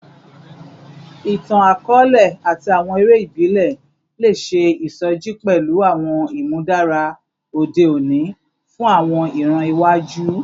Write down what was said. Itan-akọọlẹ ati awọn ere ibile le ṣe isoji pẹlu awọn imudara ode oni fun awọn iran iwaju